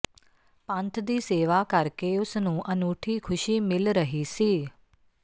ਪੰਥ ਦੀ ਸੇਵਾ ਕਰਕੇ ਉਸ ਨੂੰ ਅਨੂਠੀ ਖੁਸ਼ੀ ਮਿਲ ਰਹੀ ਸੀ